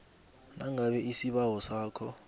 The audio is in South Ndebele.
nangabe isibawo sakho